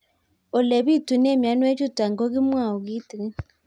Ole pitune mionwek chutok ko kimwau kitig'ín